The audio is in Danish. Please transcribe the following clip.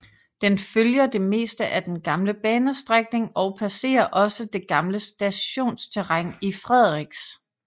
Den følger det meste af den gamle banestrækning og passerer også det gamle stationsterræn i Frederiks